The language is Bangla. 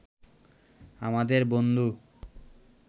আমাদের বন্ধু